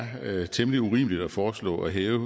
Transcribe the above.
temmelig urimeligt at foreslå at hæve